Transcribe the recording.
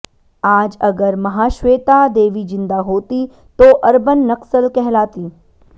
आज अगर महाश्वेता देवी ज़िंदा होतीं तो अर्बन नक्सल कहलातीं